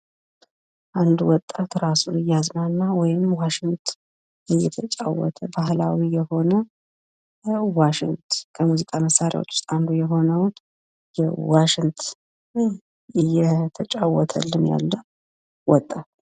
አንድ ወጣት ራሱን እያዝናና ወይም ዋሽንት እየተጫወተ ባህላዊ የሆነ ዋሽንት፤ ከሙዚቃ መሳርያዎች ውስጥ አንዱ የሆነውን ዋሽንት እየተጫወተልን ያለ ወጣት።